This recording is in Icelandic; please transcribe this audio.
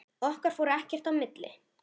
Okkar fór ekkert í milli.